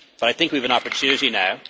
But I think we have an opportunity now.